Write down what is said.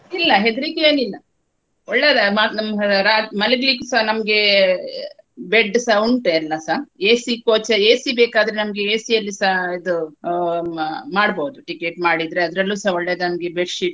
ಇಲ್ಲಾ ಹೆದ್ರಿಕೆ ಎನಿಲ್ಲಾ ಒಳ್ಳೇದೇ ಮ~ ನಮ್ ರಾ~ ಮಲ್ಗಲಿಕ್ಕೆಸ ನಮ್ಗೆ bed ಸ ಉಂಟು ಎಲ್ಲಸ. AC coach AC ಬೇಕಾದ್ರೆ ನಮ್ಗೆ AC ಅಲ್ಲಿಸ ಇದು ಆ ಮಾಡ್ಬಹುದು ticket ಮಾಡಿದ್ರೆ ಅದ್ರಲ್ಲುಸ ಒಳ್ಳೆದಂಗೆ bed sheet .